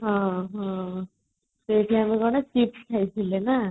ସେ time ଆମେ chips ଖାଇଥିଲେ ନା